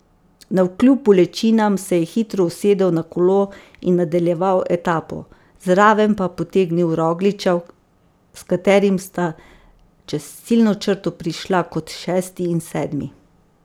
Navkljub bolečinam se je hitro usedel na kolo in nadaljeval etapo, zraven pa potegnil Rogliča, s katerim sta čez ciljno črto prišla kot šesti in sedmi.